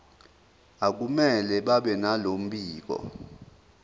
akumele babenalo mbiko